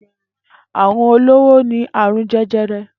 Àrún ólóró ni àrún jẹjẹrẹ